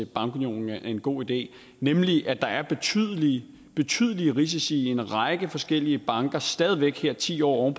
bankunion er en god idé nemlig at der er betydelige betydelige risici i en række forskellige banker stadig væk her ti år